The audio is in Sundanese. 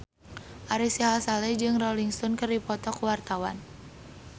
Ari Sihasale jeung Rolling Stone keur dipoto ku wartawan